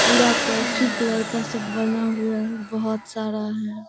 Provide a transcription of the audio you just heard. पूरा coffee colour का सब बना हुआ है। बहुत सारा है।